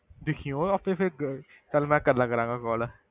ਦੇਖੀ ਉਹ ਆਪੇ ਫਿਰ ਗ~ ਚੱਲ ਮੈਂ ਕਰ ਲਿਆ ਕਰਾਂਗਾ call